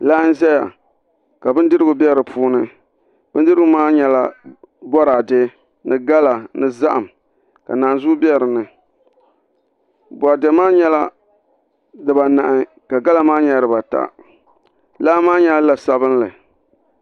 Laa n ʒuya ka bindirigu bɛ di puuni bindirigu maa nyɛla boraadɛ ni gala ni zaham ka naanzuu bɛ dinni boraadɛ maa nyɛla dibanahi ka gala maa nyɛ dibata laa maa nyɛla la sabinli